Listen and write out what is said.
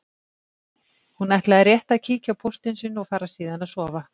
Hún ætlaði rétt að kíkja á póstinn sinn og fara síðan að sofa.